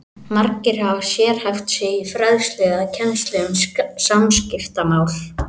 Margir hafa sérhæft sig í fræðslu eða kennslu um samskiptamál.